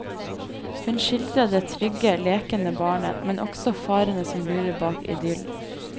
Hun skildrer det trygge, lekende barnet, men også farene som lurer bak idyllen.